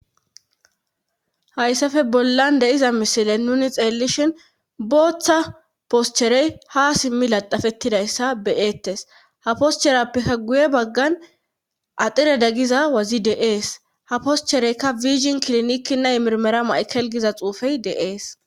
Hayssafe bollan deiza mishile nuni xeellishin booththa poscherey ha simmi laxafettidayssa beyeettes ha poscherappikka guye baggan axire daggiza wazi deees ha poschereykka wigin kiliniki naymirmera maykelgiza xuufey de7ees.